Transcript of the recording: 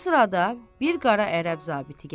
Bu sırada bir qara ərəb zabiti gəlir.